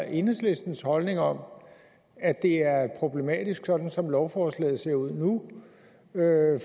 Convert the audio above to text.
enhedslistens holdning om at det er problematisk sådan som lovforslaget ser ud nu